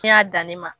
Ne y'a da ne ma